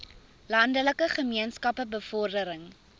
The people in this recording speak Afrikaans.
landelike gemeenskappe bevordering